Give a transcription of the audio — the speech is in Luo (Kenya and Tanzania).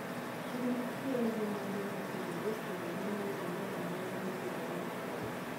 Chiro nitiere gi mwandu mopogre opogre mayudre e nengo mopogre opogre.